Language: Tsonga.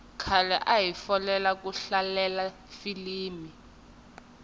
khale ahi folela ku hlalela filimi